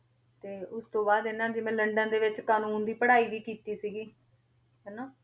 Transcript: ਤੇ ਉਸ ਤੋਂ ਬਾਅਦ ਇਹਨਾਂ ਨੇ ਜਿਵੇਂ ਲੰਡਨ ਦੇ ਵਿੱਚ ਕਾਨੂੰਨ ਦੀ ਪੜ੍ਹਾਈ ਵੀ ਕੀਤੀ ਸੀਗੀ ਹਨਾ,